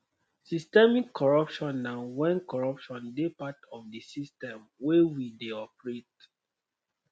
systemic corruption na when corruption dey part of di system wey we dey operate